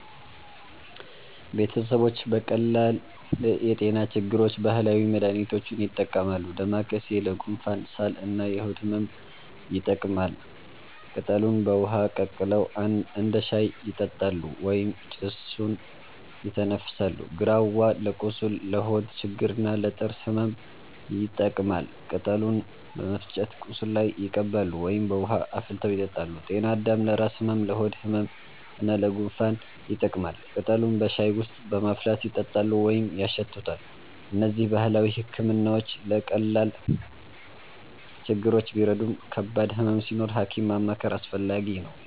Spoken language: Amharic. ቤተሰቦች ለቀላል የጤና ችግሮች ባህላዊ መድሃኒቶችን ይጠቀማሉ። ዳማከሴ ለጉንፋን፣ ሳል እና የሆድ ህመም ይጠቅማል። ቅጠሉን በውሃ ቀቅለው እንደ ሻይ ይጠጣሉ ወይም ጭሱን ይተነፍሳሉ። ግራዋ ለቁስል፣ ለሆድ ችግር እና ለጥርስ ህመም ይጠቀማል። ቅጠሉን በመፍጨት ቁስል ላይ ይቀባሉ ወይም በውሃ አፍልተው ይጠጣሉ። ጤናአዳም ለራስ ህመም፣ ለሆድ ህመም እና ለጉንፋን ይጠቅማል። ቅጠሉን በሻይ ውስጥ በማፍላት ይጠጣሉ ወይም ያሸቱታል። እነዚህ ባህላዊ ሕክምናዎች ለቀላል ችግሮች ቢረዱም ከባድ ህመም ሲኖር ሐኪም ማማከር አስፈላጊ ነው።